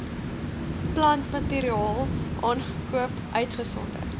plantmateriaal aangekoop uitgesonderd